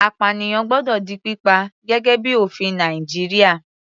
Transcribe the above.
Apànìyàn gbọ́dọ̀ di pípa, gẹ́gẹ́ bíi ofin Nàìjíríà.